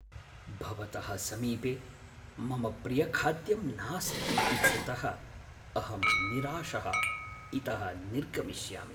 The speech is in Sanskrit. भवतः समीपे मम प्रियखाद्यं नास्ति इत्यतः अहं निराशः इतः निर्गमिष्यामि।